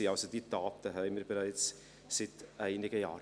Diese Taten gibt es also bereits seit einigen Jahren.